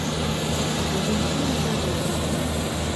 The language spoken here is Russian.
валентины давыдовой